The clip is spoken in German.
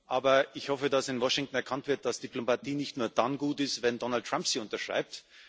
Aber ich hoffe, dass in Washington erkannt wird, dass Diplomatie nicht nur dann gut ist, wenn Donald Trump sie unterschreibt.